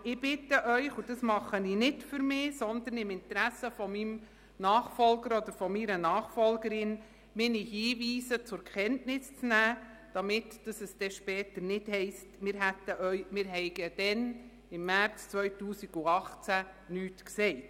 Aber ich bitte Sie – und ich tue das nicht für mich, sondern im Interesse meines Nachfolgers oder meiner Nachfolgerin –, meine Hinweise zur Kenntnis zu nehmen, damit es später nicht heisst, wir hätten im März 2018 nichts gesagt.